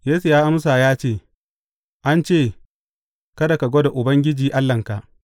Yesu ya amsa ya ce, An ce, Kada ka gwada Ubangiji Allahnka.’